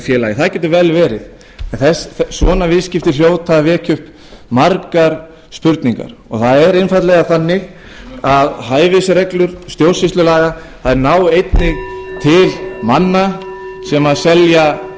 félagi það getur vel verið en svona viðskipti hljóta að vekja upp margar spurningar það er einfaldlega þannig að hæfisreglur stjórnsýslulaga þær ná einnig til manna sem selja eigur til aðila sem